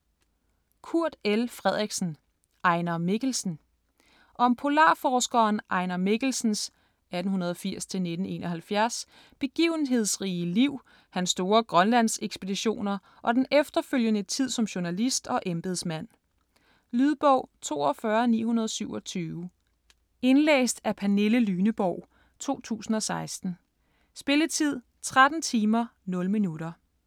Frederiksen, Kurt L.: Ejnar Mikkelsen Om polarforskeren Ejnar Mikkelsens (1880-1971) begivenhedsrige liv, hans store Grønlandsekspeditioner, og den efterfølgende tid som journalist og embedsmand. Lydbog 42927 Indlæst af Pernille Lyneborg, 2016. Spilletid: 13 timer, 0 minutter.